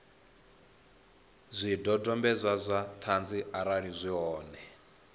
zwidodombedzwa zwa ṱhanzi arali zwi hone